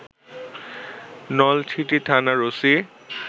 নলছিটি থানার ওসি